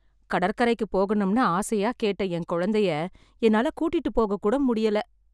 கடற்கரைக்குப் போகணும்னு ஆசையா கேட்ட, என் குழந்தையை என்னால கூட்டிட்டு போககூட முடியல.